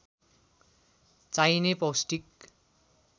चाहिने पौष्टिक